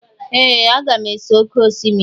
Ee! Aga m ese oké osimiri.